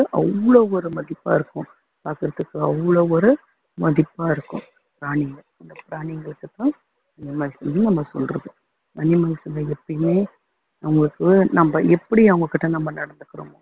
அவ்வளவு ஒரு மதிப்பா இருக்கும் பாக்குறதுக்கு அவ்வளவு ஒரு மதிப்பா இருக்கும் பிராணிங்க அந்த பிராணிங்களுக்குதான் animals னு நம்ம சொல்றோம் animals ல எப்பயுமே நமக்கு நம்ம எப்படி அவங்ககிட்ட நம்ம நடந்துக்கிறோம்